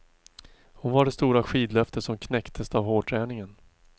Hon var det stora skidlöftet som knäcktes av hårdträningen.